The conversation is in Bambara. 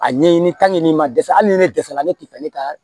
A ɲɛɲini n'i ma dɛsɛ hali ni ne dɛsɛra ne tɛ fɛ ne ka